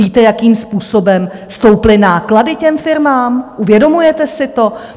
Víte, jakým způsobem stouply náklady těm firmám, uvědomujete si to?